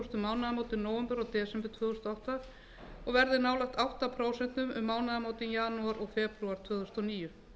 mánaðamótin nóvember desember tvö þúsund og átta og verði nálægt átta prósent um mánaðamótin janúar og febrúar tvö þúsund og níu